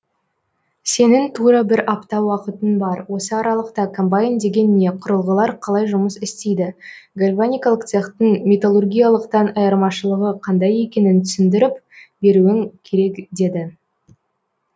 сенің тура бір апта уақытың бар осы аралықта комбайн деген не құрылғылар қалай жұмыс істейді гальваникалық цехтың металлургиялықтан айырмашылығы қандай екенін түсіндіріп беруің керек деді